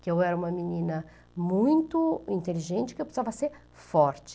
Que eu era uma menina muito inteligente, que eu precisava ser forte.